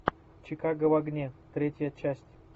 чикаго в огне третья часть